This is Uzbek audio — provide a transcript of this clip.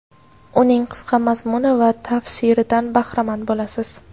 uning qisqa mazmuni va tafsiridan bahramand bo‘lasiz.